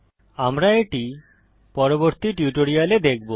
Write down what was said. আমরা এটি পরবর্তী টিউটোরিয়ালে দেখব